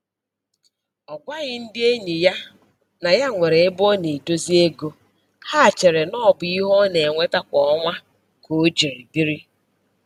Ọ gwaghị ndị enyị ya na ya nwere ebe ọ na-edozi ego, ha cheere n'ọbụ ihe ọ na-enweta kwa ọnwa ka o jiri biri